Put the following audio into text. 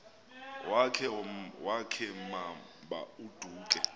wakhe ma baoduke